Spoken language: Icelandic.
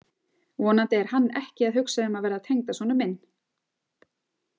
Vonandi er hann ekki að hugsa um að verða tengdasonur minn.